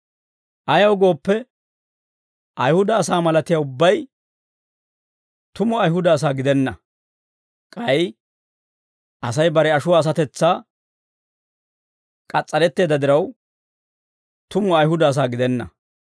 Ayaw gooppe, Ayihuda asaa malatiyaa ubbay tumu Ayihuda asaa gidenna; k'ay Asay bare ashuwaa asatetsaa k'as's'aretteedda diraw, tumu Ayihuda asaa gidenna.